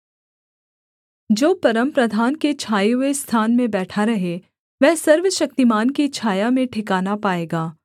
जो परमप्रधान के छाए हुए स्थान में बैठा रहे वह सर्वशक्तिमान की छाया में ठिकाना पाएगा